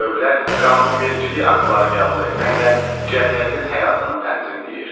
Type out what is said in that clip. Dövlət qanunvericilik aktları qəbul etməklə cəmiyyətin həyatını tənzimləyir.